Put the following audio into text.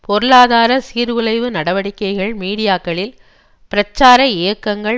பொருளாதார சீர்குலைவு நடவடிக்கைகள் மீடியாக்களில் பிரச்சார இயக்கங்கள்